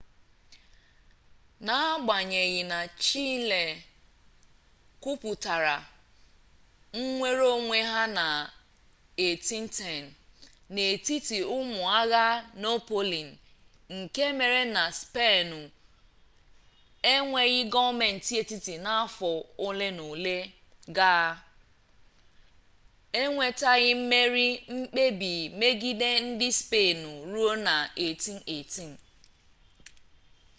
n’agbanyeghị na chile kwupụtara nnwereonwe ha na 1810 n’etiti ụmụ agha napoleon nke mere na spenụ enweghị gọọmentị etiti n'afọ olenaole gaa e nwetaghị mmerị mkpebi megide ndị spenụ ruo na 1818